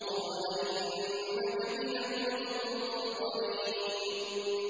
قَالَ إِنَّكَ مِنَ الْمُنظَرِينَ